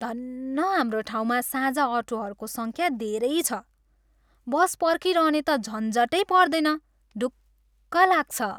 धन्न हाम्रो ठाउँमा साझा अटोहरूको सङ्ख्या धेरै छ। बस पर्खिरहने त झन्झटै पर्दैन। ढुक्क लाग्छ।